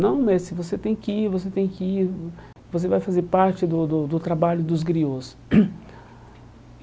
Não, você tem que ir, você tem que ir, vo você vai fazer parte do do do trabalho dos griôs.